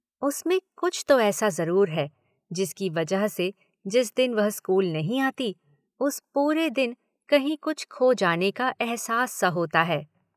उसमें कुछ तो ऐसा जरूर है जिसकी वजह से जिस दिन वह स्कूल नहीं आती उस पूरे दिन कहीं कुछ खो जाने का अहसास सा होता है।